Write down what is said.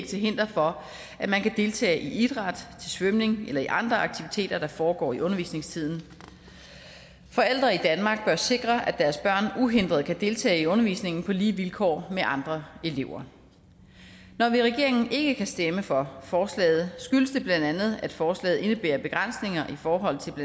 til hinder for at man kan deltage i idræt til svømning eller i andre aktiviteter der foregår i undervisningstiden forældre i danmark bør sikre at deres børn uhindret kan deltage i undervisningen på lige vilkår med andre elever når vi i regeringen ikke kan stemme for forslaget skyldes det bla at forslaget indebærer begrænsninger i forhold til